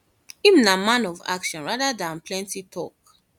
im na man of action rather dan plenty tok